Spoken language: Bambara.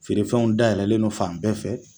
Feere fɛnw dayɛlɛnlen no fan bɛɛ fɛ.